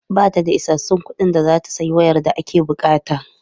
Ba ta da isassun kuɗin da za ta sayi wayar da ake buƙata.